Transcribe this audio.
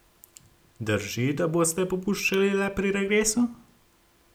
Drži, da boste popuščali le pri regresu?